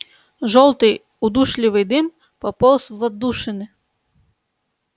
жёлтый удушливый дым пополз в отдушины